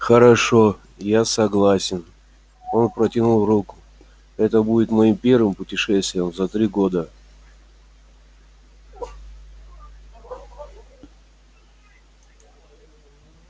хорошо я согласен он протянул руку это будет моим первым путешествием за три года